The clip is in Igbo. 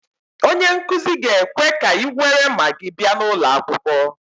Onye nkuzi ga-ekwe ka ị nwere Magị bịa n'ulo akwukwo